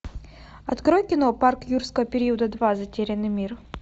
открой кино парк юрского периода два затерянный мир